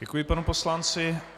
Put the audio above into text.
Děkuji panu poslanci.